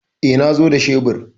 E, na zo da shebur.